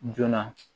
Joona